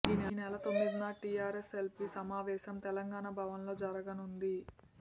ఈ నెల తొమ్మిదిన టీఆర్ఎసెఎల్పీ సమావేశం తెలంగాణ భవన్ లో సమావేశం జరపనుంది